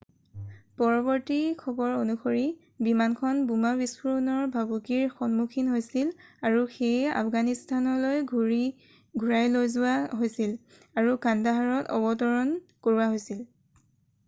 পৰৱৰ্তী খবৰ অনুসৰি বিমানখন বোমা বিস্ফোৰণৰ ভাবুকিৰ সন্মুখীন হৈছিল আৰু সেয়ে আফগানিস্তানলৈ ঘূৰাই লৈ যোৱা হৈছিল আৰু কান্দাহাৰত অৱতৰণ কৰোৱা হৈছিল